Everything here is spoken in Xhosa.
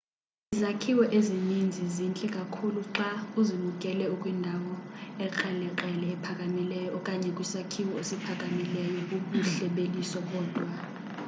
izakhiwo ezininzi zintle kakhulu xa uzibukele ukwindawo ekrelekrele ephakamileyo okanye kwisakhiwo esiphakamileyo bubuhle beliso bodwa